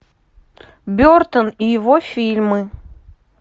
бертон и его фильмы